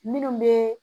Minnu bɛ